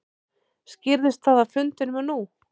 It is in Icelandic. Skýrðist það á fundinum nú?